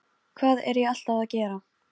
Með þetta veganesti fór ég út í lífið.